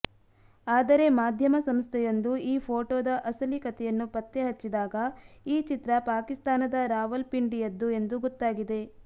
ಆದರೆ ಮಾಧ್ಯಮ ಸಂಸ್ಥೆಯೊಂದು ಈ ಫೋಟೋದ ಅಸಲಿ ಕತೆಯನ್ನು ಪತ್ತೆಹಚ್ಚಿದಾಗ ಈ ಚಿತ್ರ ಪಾಕಿಸ್ತಾನದ ರಾವಲ್ಪಿಂಡಿಯದ್ದು ಎಂದು ಗೊತ್ತಾಗಿದೆ